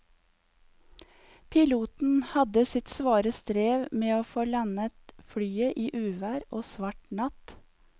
Piloten hadde sitt svare strev med å få landet flyet i uvær og svart natt.